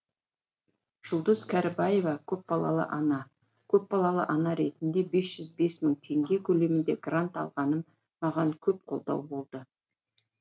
жұлдыз кәрібаева көпбалалы ана көпбалалы ана ретінде бес жүз бес мың теңге көлемінде грант алғаным маған көп қолдау болды